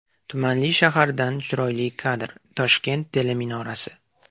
Tumanli shahardan chiroyli kadr: Toshkent teleminorasi .